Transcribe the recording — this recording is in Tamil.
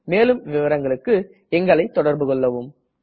மேலும் விவரங்களுக்கு எங்களை தொடர்புகொள்ளவும்